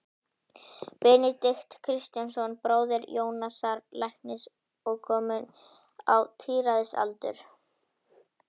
Benedikt Kristjánsson, bróðir Jónasar læknis og kominn á tíræðisaldur.